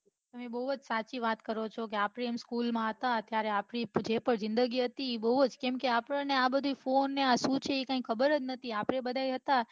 તમે બહુ જ સાચી વાત કરો છો આપડે school માં હતા એટલે આપડી જે જિંદગી હતી એ બહુ જ આપડ ને આ બઘુ phone આ શું છે એ કાંઈ ખબર જ નથી આપડે બઘા હતા